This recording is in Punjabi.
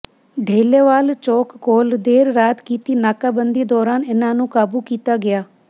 ਢੋਲੇਵਾਲ ਚੌਕ ਕੋਲ ਦੇਰ ਰਾਤ ਕੀਤੀ ਨਾਕਾਬੰਦੀ ਦੌਰਾਨ ਇਨ੍ਹਾਂ ਨੂੰ ਕਾਬੂ ਕੀਤਾ ਗਿਆ